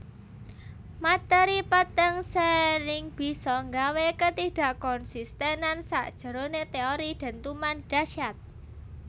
Materi peteng sering bisa nggawe ketidakkonsistenan sakjeroné teori dentuman dahsyat